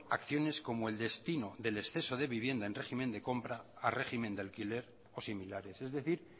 acciones como el destino de exceso de viviendas en régimen de compra a régimen de alquiler o similares es decir